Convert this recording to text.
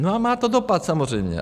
No a má to dopad samozřejmě.